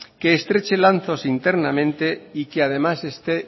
que estreche lazos si internamente y que además esté